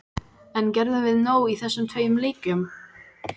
En gerðum við nóg í þessum tveim leikjum?